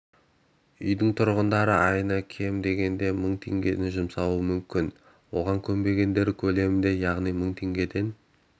үйдің тұрғындары айына кем дегенде мың теңге жұмсауы мүмкін оған көнбегендері көлемінде яғни мың теңгеден